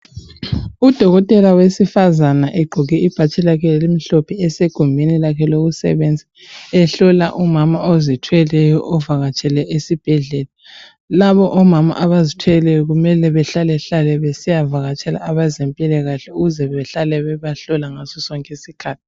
Udokotela wesifazana egqoke ibhatshi lakhe elimhlophe esegumbini lakhe lokusebenza ehlola umama ozithweleyo ovakatshele esibhedlela. Labo omama abazithweleyo kumele behlalehlale besiyavakatshele abezempilakahle ukuze bahlale bebahlola ngaso sonke isikhathi.